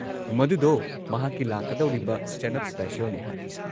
ꯃꯗꯨꯗꯣ ꯃꯍꯥꯛꯀꯤ ꯂꯥꯛꯀꯗꯧꯔꯤꯕ ꯁ꯭ꯇꯦꯟꯗ-ꯑꯞ ꯁ꯭ꯄꯦꯁꯤꯑꯦꯜꯅꯤ ꯍꯥꯏ꯫